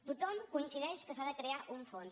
tothom coincideix que s’ha de crear un fons